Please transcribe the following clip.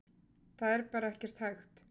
Það er bara ekkert hægt.